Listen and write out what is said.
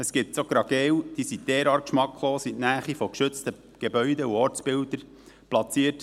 Es gibt so Ungeheuer, die derart geschmacklos sind – in der Nähe von geschützten Gebäuden und Ortsbildern platziert.